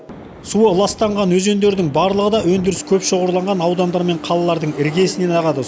суы ластанған өзендердің барлығы да өндіріс көп шоғырланған аудандар мен қалалардың іргесінен ағады